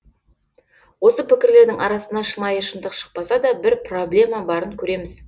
осы пікірлердің арасынан шынайы шындық шықпаса да бір проблема барын көреміз